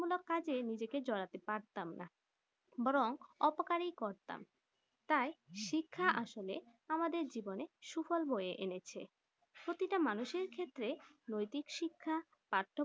উন্নয়ন মূলক কাজে নিজেকে জড়াতে পারতাম না বরং অপকারী করতাম তাই শিক্ষা আসলে আমাদের জীবনে সুফল বইয়ে এনেছে প্রতিটা মানুষ এই ক্ষেত্রে নৈতিক শিক্ষা